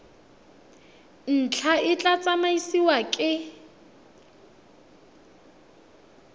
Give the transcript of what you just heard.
ntlha e tla tsamaisiwa ke